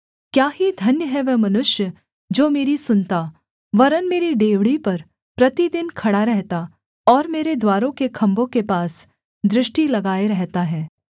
क्या ही धन्य है वह मनुष्य जो मेरी सुनता वरन् मेरी डेवढ़ी पर प्रतिदिन खड़ा रहता और मेरे द्वारों के खम्भों के पास दृष्टि लगाए रहता है